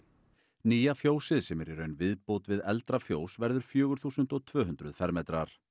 nýja fjósið sem er í raun viðbót við eldra fjós verður fjögur þúsund tvö hundruð fermetrar